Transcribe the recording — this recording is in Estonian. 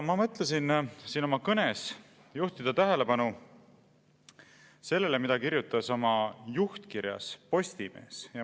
Ma mõtlesin oma kõnes juhtida tähelepanu sellele, mida kirjutas oma juhtkirjas Postimees.